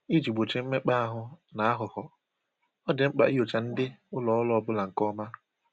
Iji gbochie mmekpa ahụ na aghụghọ, ọ dị mkpa inyocha ndị ụlọ ọrụ ọbụla nke ọma